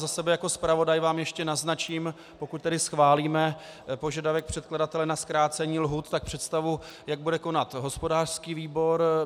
Za sebe jako zpravodaj vám ještě naznačím, pokud tedy schválíme požadavek předkladatele na zkrácení lhůt, tak představu, jak bude konat hospodářský výbor.